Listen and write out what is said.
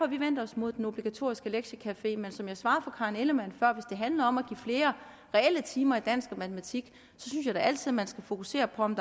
vi vendt os imod den obligatoriske lektiecafé men som jeg svarede fru karen ellemann før handler om at give flere reelle timer i dansk og matematik synes jeg da altid man skal fokusere på om